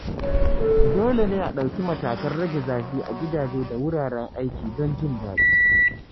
Dole ne a ɗauki matakan rage zafi a gidaje da wuraren aiki don jin daɗi.